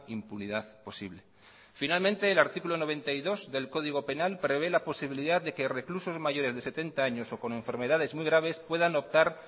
impunidad posible finalmente el artículo noventa y dos del código penal prevé la posibilidad de que reclusos mayores de setenta años o con enfermedades muy graves puedan optar